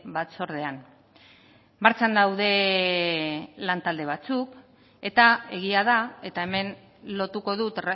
batzordean martxan daude lantalde batzuk eta egia da eta hemen lotuko dut